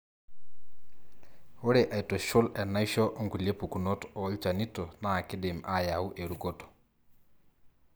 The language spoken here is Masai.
ore aitushul enaisho onkulie pukunot olchanito na kindim ayau erukoto.